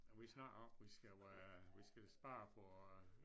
Og vi snakker om vi skal være vi skal spare på